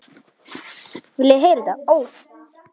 Lóa og Magnús.